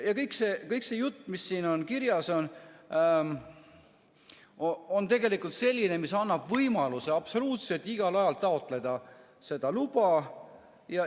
Ja kõik see jutt, mis siin kirjas on, on tegelikult selline, mis annab võimaluse absoluutselt igal ajal taotleda seda luba.